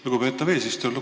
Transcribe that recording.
Lugupeetav eesistuja!